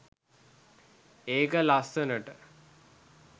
ඒක ලස්සනට